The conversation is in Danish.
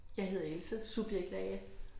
Jeg hedder Else, subjekt A